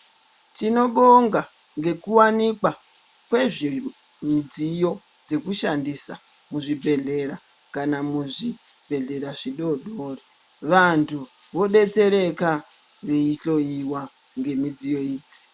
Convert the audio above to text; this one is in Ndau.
Tinobonga ngekuwanikwa kwemidziyo dzekushandisa muzvibhedhlera kana muzvibhedhlera zvidodori. Vantu vodetsereka veyihloyiwa ngemidziyo idzi.